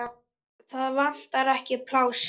Það vantar ekki pláss.